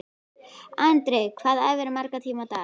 Andri: Hvað æfirðu marga tíma á dag?